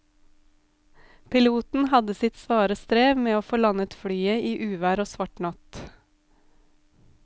Piloten hadde sitt svare strev med å få landet flyet i uvær og svart natt.